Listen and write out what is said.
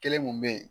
Kelen mun be yen